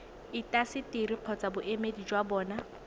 intaseteri kgotsa boemedi jwa bona